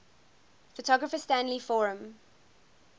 photographer stanley forman